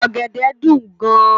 Ògèdè dún gán